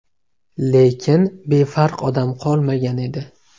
Lekin befarq odam qolmagan edi.